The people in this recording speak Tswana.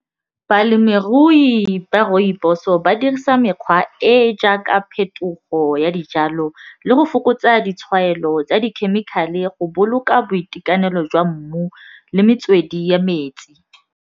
Balemirui ba rooibos-o ba dirisa mekgwa e e jaaka phetogo ya dijalo le go fokotsa ditshwaelo tsa dikhemikhale go boloka boitekanelo jwa mmu le metswedi ya metsi.